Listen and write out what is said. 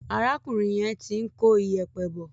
Arákùnrin yẹn ti ń kó ìyẹ̀pẹ̀ bọ̀.